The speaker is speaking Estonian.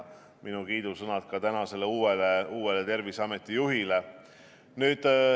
Minu kiidusõnad ka uuele Terviseameti juhile.